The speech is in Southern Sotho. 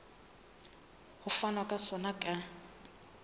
ho fanwa ka sona ka